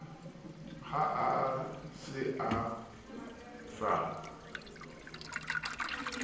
ha a se a sa